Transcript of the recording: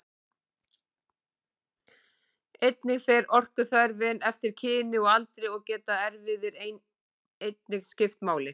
Einnig fer orkuþörfin eftir kyni og aldri og geta erfðir einnig skipt máli.